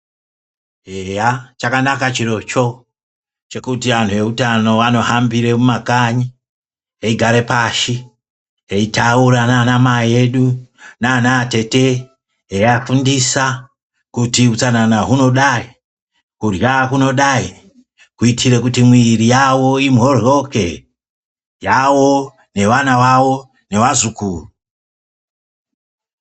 Eya chakanaka chirocho chekuti antu eutano anohambire mumakanyi eigare pashi eitaura naanamai edu naanatete eiafundisa kuti utsanana hunodayi, kurya kunodayi kuitire kuti mwiri yavo imhoryoke, yavo nevana vavo nevazukuru.